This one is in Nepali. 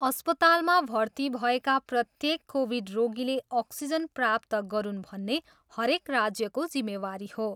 अस्पतालमा भर्ती भएका प्रत्येक कोभिड रोगीले अक्सिजन प्राप्त गरून् भन्ने हरेक राज्यको जिम्मेवारी हो।